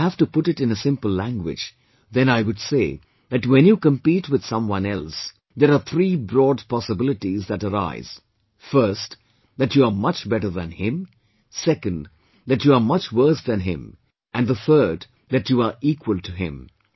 If I have to put it in a simple language, then I would say that when you compete with someone else, there are three broad possibilities that arise first, that you are much better than him; second, that you are much worse than him; and the third that you are equal to him